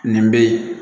Nin bɛ ye